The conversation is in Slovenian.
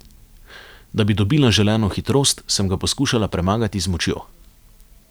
Da bi dobila želeno hitrost, sem ga poskušala premagati z močjo.